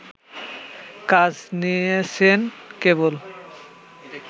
কাজ নিয়েছেন কেবল